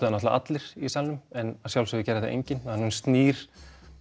náttúrulega allir í salnum en að sjálfsögðu gerði það enginn að hún snýr